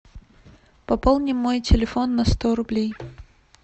пополни мой телефон на сто рублей